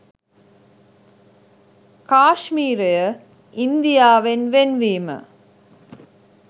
කාශ්මීරය ඉන්දියාවෙන් වෙන් වීම